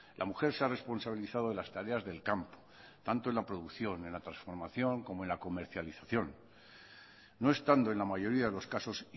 la mujer se ha responsabilizado de las tareas del campo tanto en la producción en la transformación como en la comercialización no estando en la mayoría de los casos